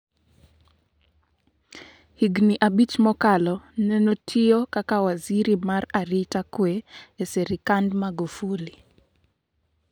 Higni abich mokalo nen otiyo kaka waziri mar arita kwee e serikand Magufuli.